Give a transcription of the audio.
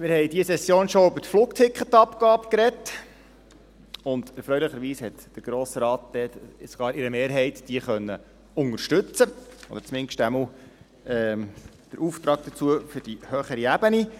Wir haben in dieser Session schon über die Flugticketabgabe gesprochen, und erfreulicherweise hat der Grosse Rat diese mit einer Mehrheit unterstützen können oder zumindest den Auftrag dazu für die höhere Ebene.